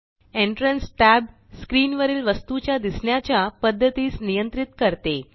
entrance tab screen वरील वस्तुच्या दिसण्याच्या पद्धतीस नियंत्रित करते